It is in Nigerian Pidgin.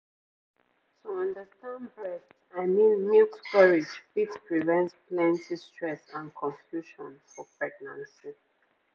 to understand breast i mean milk storage fit prevent plenty stress and confusion for pregnancy